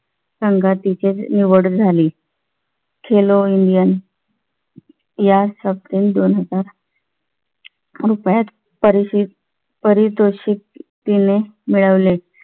संघात त्याची निवड झाली. खेलो इंडियन या शतकात दोन हजार रुपयात पारितोषिक तिने मिळवले.